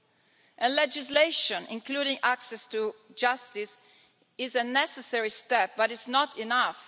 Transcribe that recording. While legislation, including on access to justice, is a necessary step, it's not enough.